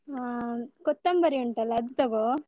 ಹ, ಕೊತ್ತಂಬರಿ ಉಂಟಲ್ಲ ಅದು ತಗೋ.